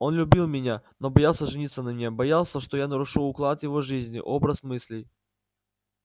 он любил меня но боялся жениться на мне боялся что я нарушу уклад его жизни образ мыслей